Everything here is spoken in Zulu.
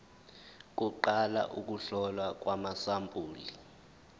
kuqala ukuhlolwa kwamasampuli